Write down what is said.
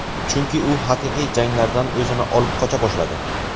Chunki u haqiqiy janglardan o‘zini olib qocha boshladi.